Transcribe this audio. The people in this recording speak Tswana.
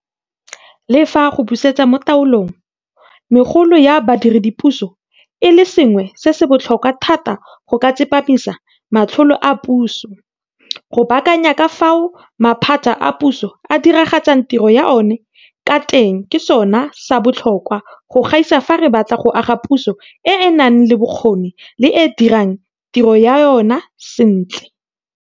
Le fa go busetsa mo taolong megolo ya badiredipuso e le sengwe se se botlhokwa thata go ka tsepamisa matlole a puso, go baakanya ka fao maphata a puso a diragatsang tiro ya ona ka teng ke sona sa botlhokwa go gaisa fa re batla go aga puso e e nang le bokgoni le e e dirang tiro ya yona sentle.